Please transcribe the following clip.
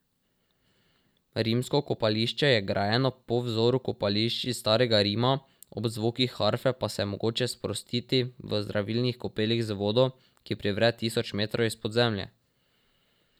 Rimsko kopališče je grajeno po vzoru kopališč iz starega Rima, ob zvokih harfe pa se je mogoče sprostiti v zdravilnih kopelih z vodo, ki privre tisoč metrov izpod zemlje.